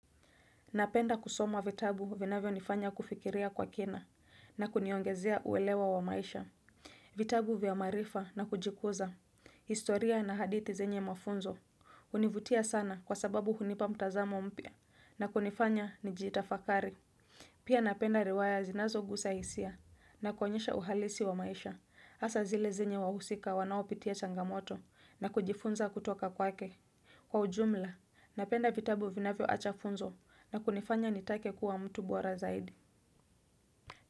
Napenda kusoma vitabu vinavyonifanya kufikiria kwa kina na kuniongezea uelewa wa maisha. Vitabu vya maarifa na kujikuza. Historia na hadithi zenye mafunzo. Hunivutia sana kwa sababu hunipa mtazamo mpya na kunifanya nijitafakari. Pia napenda riwaya zinazokuza hisia na kuonyesha uhalisi wa maisha. Hasa zile zenye wahusika wanaopitia changamoto na kujifunza kutoka kwake. Kwa ujumla, napenda vitabu vinavyoacha funzo na kunifanya nitake kuwa mtu bora zaidi.